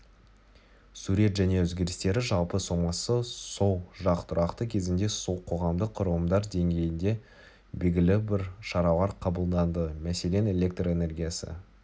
сурет және өзгерістері жалпы сомасы сол жақ тұрақты кезінде сол қоғамдық құрылымдар деңгейінде белгілі бір шаралар қабылданды мәселен электр энергиясы